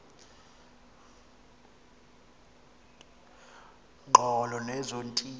ngqolo nezo ntili